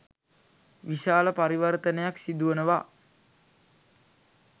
විශාල පරිවර්තනයක් සිදුවනවා.